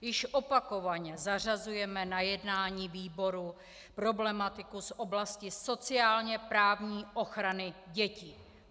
Již opakovaně zařazujeme na jednání výboru problematiku z oblasti sociálně-právní ochrany dětí.